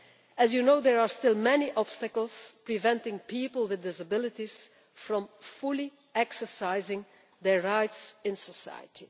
As you know, there are still many obstacles preventing people with disabilities from fully exercising their rights in society.